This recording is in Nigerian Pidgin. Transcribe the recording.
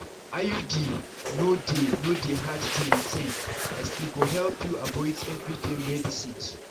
iud no dey no dey hard to maintain as e go help you avoid everyday medicines.